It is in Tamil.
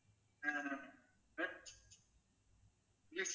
ஆஹ்